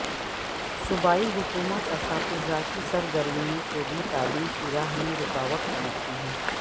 صوبائی حکومت اساتذہ کی سرگرمیوں کو بھی تعلیم کی راہ میں رکاوٹ سمجھتی ہے